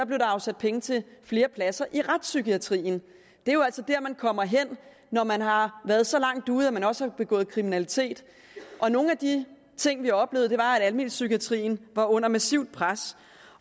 blev der afsat penge til flere pladser i retspsykiatrien det er jo altså dér man kommer hen når man har været så langt ude at man også har begået kriminalitet nogle af de ting vi oplevede var at almenpsykiatrien var under massivt pres